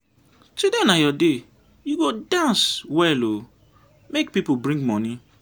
today na your day you go dance well ooo make people bring money.